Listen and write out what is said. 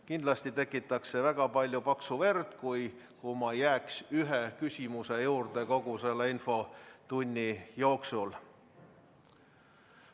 Kindlasti tekitaks väga palju paksu verd, kui ma jääks ühe küsimuse juurde kogu infotunniks.